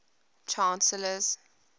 chancellors